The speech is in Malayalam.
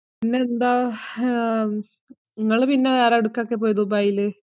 പിന്നെ എന്താ? ഇങ്ങള് പിന്നെ വേറെ എവിടേക്കൊക്കെ പോയത് ദുബൈയിൽ?